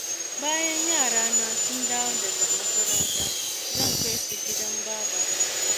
Bayan yarana sun dawo daga makaranta, zan kai su gidan babata.